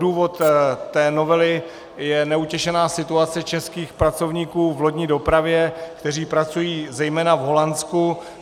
Důvod té novely je neutěšená situace českých pracovníků v lodní dopravě, kteří pracují zejména v Holandsku.